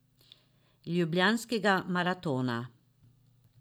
Ljubljanskega maratona.